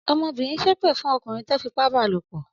Ọmọbìnrin ṣépè fún ọkùnrin tó fipá ba lòpọ̀?